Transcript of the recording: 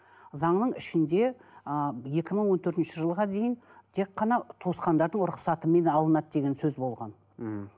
заңның ішінде ыыы екі мың он төртінші жылға дейін тек қана туысқандардың рұқсатымен алынады деген сөз болған мхм